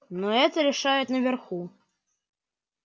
ну это решают наверху